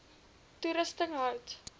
toerusting hout